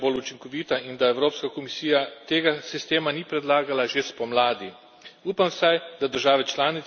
Žal mi je, da tudi slovenska vlada ni kaj bolj učinkovita in da Evropska komisija tega sistema ni predlagala že spomladi.